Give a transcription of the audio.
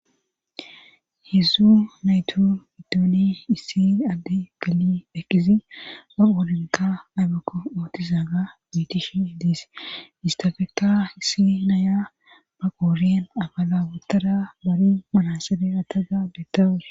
hedzzu naytu iddooni issi addi geli eqqidi oolinka aybekko ootizaa ga mitish idiis istafeka issi naya baqooriyen abala wotara bari manasebe ataga beettawus